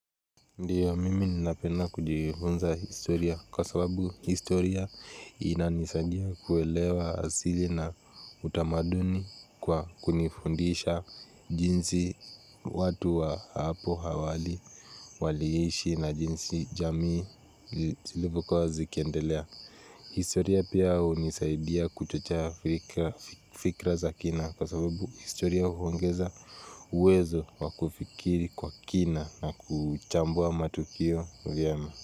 Ndio, mimi napenda kujifunza historia kwa sababu historia inanisaidia kuelewa asili na utamaduni kwa kunifundisha jinsi watu wa hapo hawali, waliishi na jinsi jamii zilivyo kuwa zikiendelea. Historia pia hu nisaidia kuchochea fikra za kina kwa sababu historia huongeza uwezo wakufikiri kwa kina na kuchambua matukio vyema.